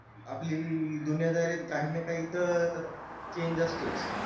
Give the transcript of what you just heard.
आपली दुनियादारीत काही ना काही change असतोच